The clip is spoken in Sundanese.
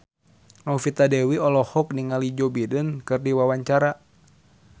Novita Dewi olohok ningali Joe Biden keur diwawancara